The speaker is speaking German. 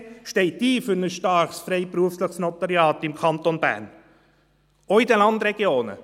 Die BDP steht für ein starkes, freiberufliches Notariat im Kanton Bern ein, auch in den Landregionen.